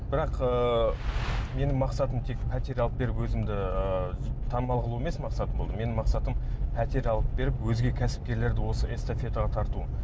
бірақ ыыы менің мақсатым тек пәтер алып беріп өзімді ы танымал қылу емес мақсатым болды менің мақсатым пәтер алып беріп өзге кәсіпкерлерді осы эстафетаға тарту